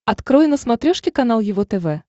открой на смотрешке канал его тв